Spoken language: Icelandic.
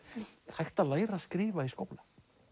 hægt að læra að skrifa í skóla